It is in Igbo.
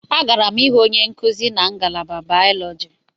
Agara m ịhụ onye nkuzi na ngalaba Bayọlọji.